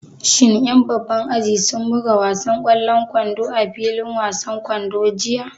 Shin ƴan babban aji sun buga wasan ƙwallon kwando a filin wasan kwando jiya?